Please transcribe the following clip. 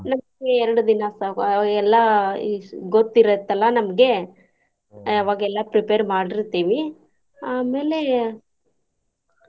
ನಮ್ಗೆ ಎರ್ಡ್ ದಿನಾ ಸಾಕು ಅವಾಗೆಲ್ಲಾ ಇ~ ಗೊತ್ತ್ ಇರುತ್ತಲ್ಲಾ ನಮ್ಗೆ ಅವಾಗೆಲ್ಲಾ prepare ಮಾಡಿರ್ತೆವಿ ಆಮೇಲೆ .